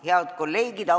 Head kolleegid!